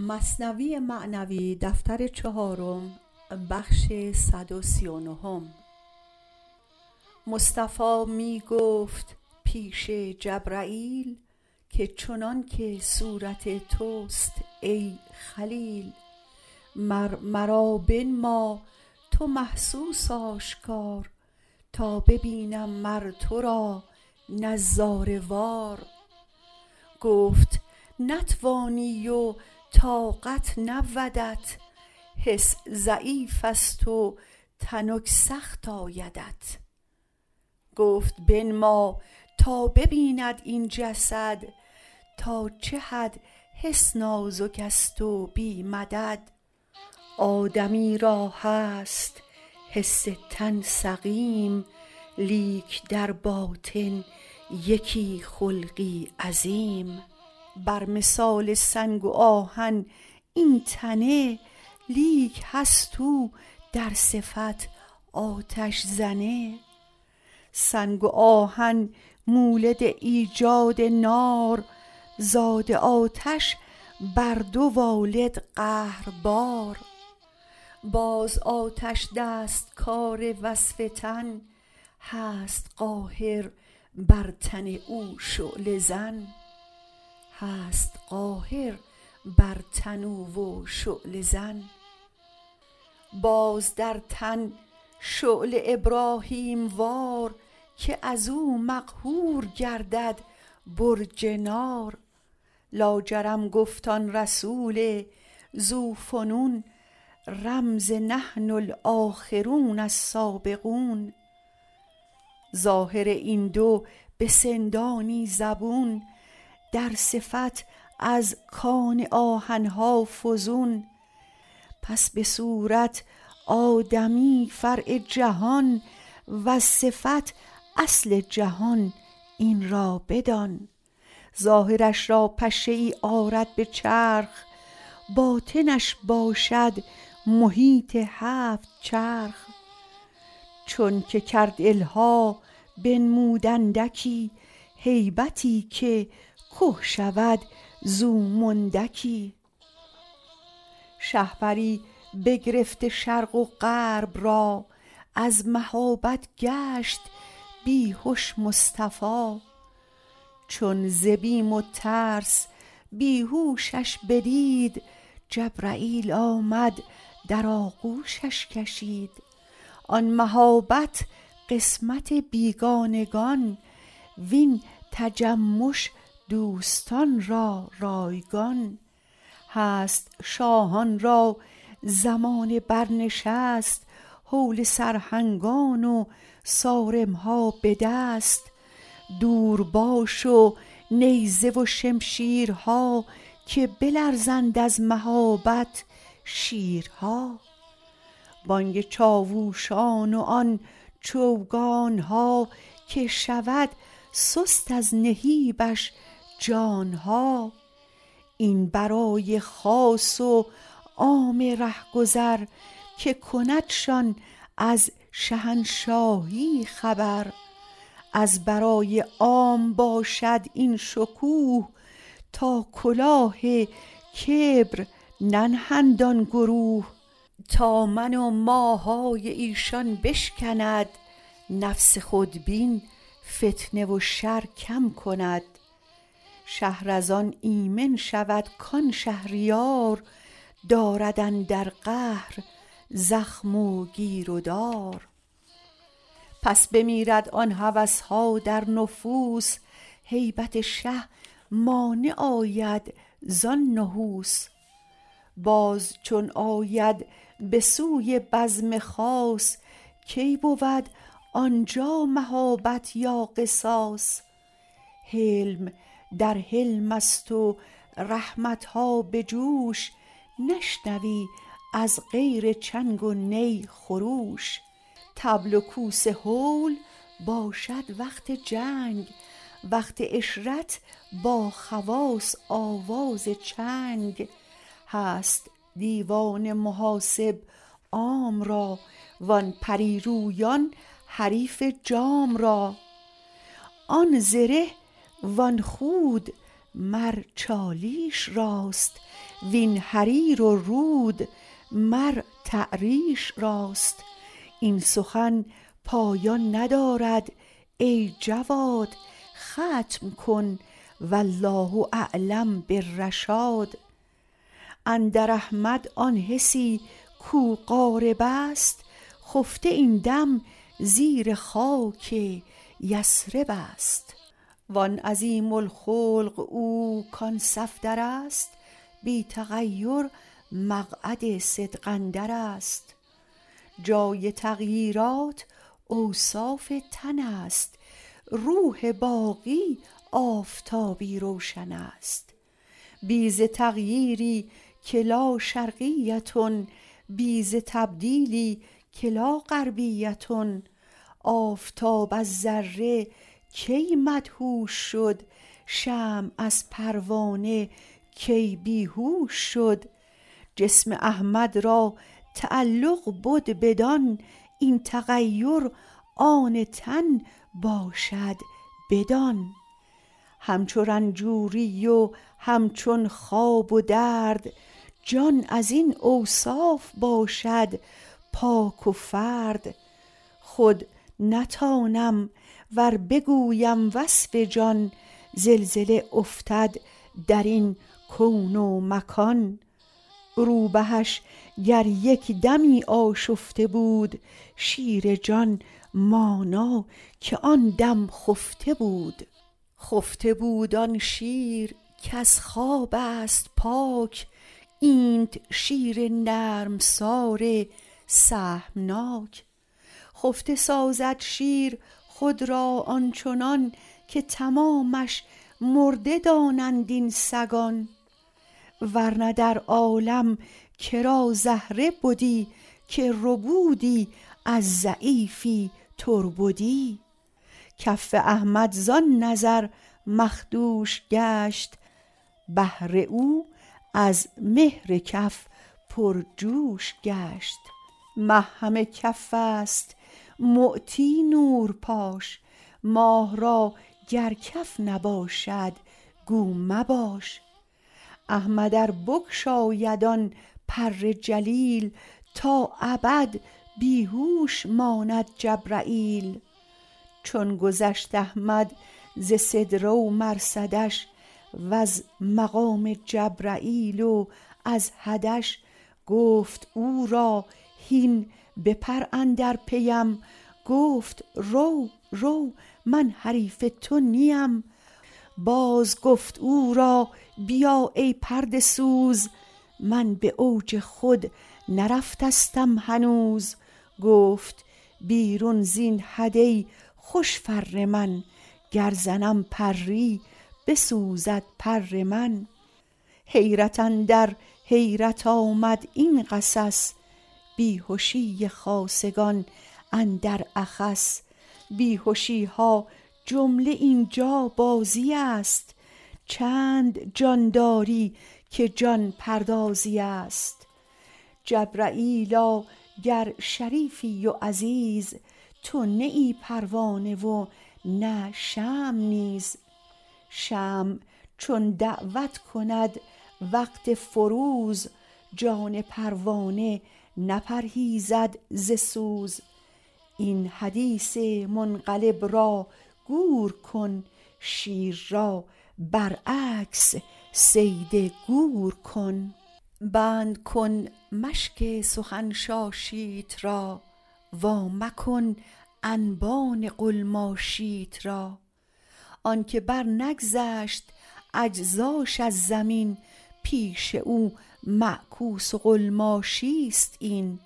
مصطفی می گفت پیش جبرییل که چنانک صورت تست ای خلیل مر مرا بنما تو محسوس آشکار تا ببینم مر ترا نظاره وار گفت نتوانی و طاقت نبودت حس ضعیفست و تنک سخت آیدت گفت بنما تا ببیند این جسد تا چد حد حس نازکست و بی مدد آدمی را هست حس تن سقیم لیک در باطن یکی خلقی عظیم بر مثال سنگ و آهن این تنه لیک هست او در صفت آتش زنه سنگ و آهن مولد ایجاد نار زاد آتش بر دو والد قهربار باز آتش دستکار وصف تن هست قاهر بر تن او و شعله زن باز در تن شعله ابراهیم وار که ازو مقهور گردد برج نار لاجرم گفت آن رسول ذو فنون رمز نحن الاخرون السابقون ظاهر این دو بسندانی زبون در صفت از کان آهن ها فزون پس به صورت آدمی فرع جهان وز صفت اصل جهان این را بدان ظاهرش را پشه ای آرد به چرخ باطنش باشد محیط هفت چرخ چونک کرد الحاح بنمود اندکی هیبتی که که شود زو مندکی شهپری بگرفته شرق و غرب را از مهابت گشت بیهش مصطفی چون ز بیم و ترس بیهوشش بدید جبرییل آمد در آغوشش کشید آن مهابت قسمت بیگانگان وین تجمش دوستان را رایگان هست شاهان را زمان بر نشست هول سرهنگان و صارمها به دست دور باش و نیزه و شمشیرها که بلرزند از مهابت شیرها بانگ چاوشان و آن چوگانها که شود سست از نهیبش جانها این برای خاص وعام ره گذر که کندشان از شهنشاهی خبر از برای عام باشد این شکوه تا کلاه کبر ننهند آن گروه تا من و ماهای ایشان بشکند نفس خودبین فتنه و شر کم کند شهر از آن آمن شود کان شهریار دارد اندر قهر زخم و گیر و دار پس بمیرد آن هوسها در نفوس هیبت شه مانع آید زان نحوس باز چون آید به سوی بزم خاص کی بود آنجا مهابت یا قصاص حلم در حلمست و رحمتها به جوش نشنوی از غیر چنگ و ناخروش طبل و کوس هول باشد وقت جنگ وقت عشرت با خواص آواز چنگ هست دیوان محاسب عام را وان پری رویان حریف جام را آن زره وآن خود مر چالیش راست وین حریر و رود مر تعریش راست این سخن پایان ندارد ای جواد ختم کن والله اعلم بالرشاد اندر احمد آن حسی کو غاربست خفته این دم زیر خاک یثربست وآن عظیم الخلق او کان صفدرست بی تغیر مقعد صدق اندرست جای تغییرات اوصاف تنست روح باقی آفتابی روشنست بی ز تغییری که لا شرقیة بی ز تبدیلی که لا غربیة آفتاب از ذره کی مدهوش شد شمع از پروانه کی بیهوش شد جسم احمد را تعلق بد بدآن این تغیر آن تن باشد بدان هم چو رنجوری و هم چون خواب و درد جان ازین اوصاف باشد پاک و فرد روبهش گر یک دمی آشفته بود شیر جان مانا که آن دم خفته بود خفته بود آن شیر کز خوابست پاک اینت شیر نرمسار سهمناک خفته سازد شیر خود را آنچنان که تمامش مرده دانند این سگان ورنه در عالم کرا زهره بدی که ربودی از ضعیفی تربدی کف احمد زان نظر مخدوش گشت بحر او از مهر کف پرجوش گشت مه همه کفست معطی نورپاش ماه را گر کف نباشد گو مباش احمد ار بگشاید آن پر جلیل تا ابد بیهوش ماند جبرییل چون گذشت احمد ز سدره و مرصدش وز مقام جبرییل و از حدش گفت او را هین بپر اندر پیم گفت رو رو من حریف تو نیم باز گفت او را بیا ای پرده سوز من باوج خود نرفتستم هنوز گفت بیرون زین حد ای خوش فر من گر زنم پری بسوزد پر من حیرت اندر حیرت آمد این قصص بیهشی خاصگان اندر اخص بیهشیها جمله اینجا بازیست چند جان داری که جان پردازیست جبرییلا گر شریفی و عزیز تو نه ای پروانه و نه شمع نیز شمع چون دعوت کند وقت فروز جان پروانه نپرهیزد ز سوز این حدیث منقلب را گور کن شیر را برعکس صید گور کن بند کن مشک سخن شاشیت را وا مکن انبان قلماشیت را آنک بر نگذشت اجزاش از زمین پیش او معکوس و قلماشیست این